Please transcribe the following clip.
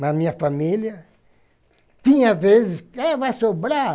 Mas minha família... Tinha vezes que... Ah, vai sobrar!